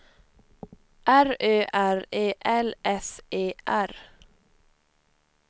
R Ö R E L S E R